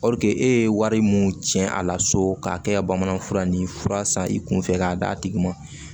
e ye wari mun cɛn a la so k'a kɛ ka bamanan fura ni fura san i kunfɛ k'a d'a tigi ma